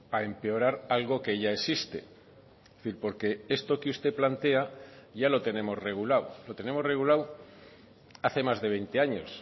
a empeorar algo que ya existe es decir porque esto que usted plantea ya lo tenemos regulado lo tenemos regulado hace más de veinte años